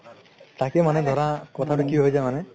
তাকেই মানে ধৰা কথাটো কি হয় যাই মানে